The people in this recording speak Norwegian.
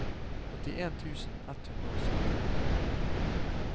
åttien tusen ett hundre og sytti